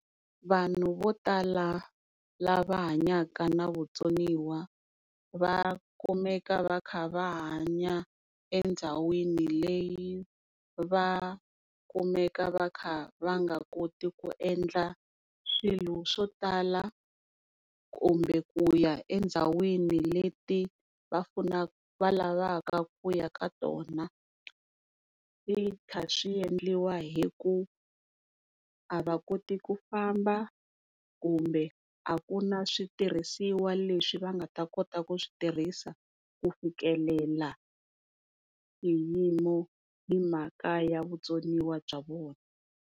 Vanhu vo tala lava hanyaka na vutsoniwa va kumeka va kha hanya endhawini leyi va kumeka va kha va nga koti ku endla swilo swo tala kumbe ku ya endhawini leti va va lavaka ku ya ka tona, swi kha swi endliwa hi ku a va koti ku famba kumbe a ku na switirhisiwa leswi va nga ta kota ku swi tirhisiwa ku fikelela swiyimo hi mhaka ya vutsoniwa bya vona.